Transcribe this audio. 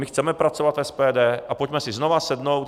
My chceme pracovat v SPD a pojďme si znovu sednout.